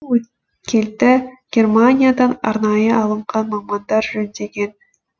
өткелді германиядан арнайы алынған мамандар жөндеген